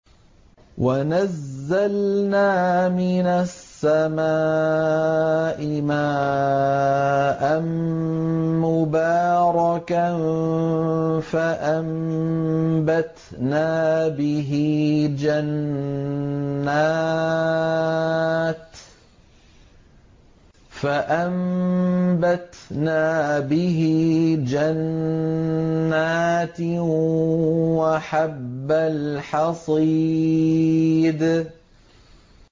وَنَزَّلْنَا مِنَ السَّمَاءِ مَاءً مُّبَارَكًا فَأَنبَتْنَا بِهِ جَنَّاتٍ وَحَبَّ الْحَصِيدِ